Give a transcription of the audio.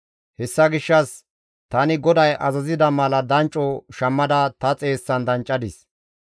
Hessa gishshas tani GODAY azazida mala dancco shammada ta xeessan danccadis.